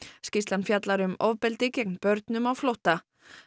skýrslan fjallar um ofbeldi gegn börnum á flótta